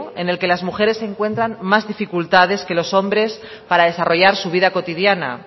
en el que las mujeres encuentran más dificultades que los hombres para desarrollar su vida cotidiana